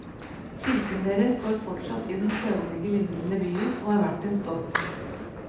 Kirken deres står fortsatt i den søvnige lille byen, og er verdt en stopp.